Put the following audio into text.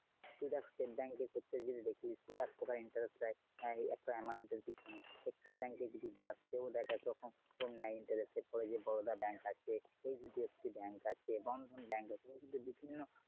তো State bank এ ক্ষেত্রে যদি দেখিস ও এক interest নেয় একটা amount এর পিছনে, Axis bank যদি যাস সেও দেখায় interest এর পরে Boroda bank আছে, HDFC Bank আছে, Bandhan bank আছে ওরা কিন্তু বিভিন্ন।